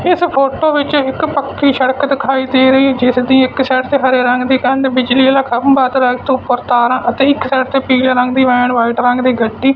ਇੱਸ ਫ਼ੋਟੋ ਵਿੱਚ ਇੱਕ ਪੱਕੀ ਸੜਕ ਦਿਖਾਈ ਦੇ ਰਹੀ ਹੈ ਜਿੱਸ ਦੀ ਇੱਕ ਸਾਈਡ ਤੇ ਹਰੇ ਰੰਗ ਦੀ ਕੰਧ ਬਿਜਲੀ ਆਲ਼ਾ ਖੰਭਾ ਦ੍ਰਖਤ ਊਪਰ ਤਾਰਾਂ ਅਤੇ ਇੱਕ ਸਾਈਡ ਤੇ ਪੀਲੇ ਰੰਗ ਦੀ ਵੈਨ ਵ੍ਹਾਈਟ ਰੰਗ ਦੀ ਗੱਡੀ।